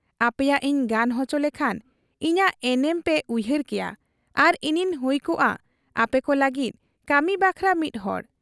ᱟᱯᱮᱭᱟᱜ ᱤᱧ ᱜᱟᱱ ᱚᱪᱚ ᱞᱮᱠᱷᱟᱱ ᱤᱧᱟᱹᱜ ᱮᱱᱮᱢ ᱯᱮ ᱩᱭᱦᱟᱹᱨ ᱠᱮᱭᱟ ᱟᱨ ᱤᱧᱤᱧ ᱦᱩᱭ ᱠᱚᱜ ᱟ ᱟᱯᱮᱠᱚ ᱞᱟᱹᱜᱤᱫ ᱠᱟᱹᱢᱤ ᱵᱟᱠᱷᱨᱟ ᱢᱤᱫ ᱦᱚᱲ ᱾'